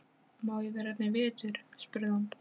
Má ég vera hérna í vetur? spurði hún.